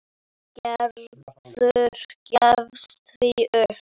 Gerður gefst því upp.